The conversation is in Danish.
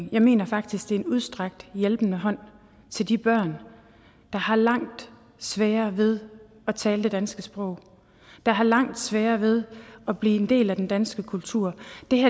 jeg mener faktisk det er en udstrakt hjælpende hånd til de børn der har langt sværere ved at tale det danske sprog der har langt sværere ved at blive en del af den danske kultur